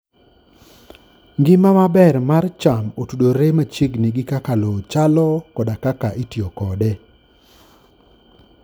Ngima maber mar cham otudore machiegni gi kaka lowo chalo koda kaka itiyo kode.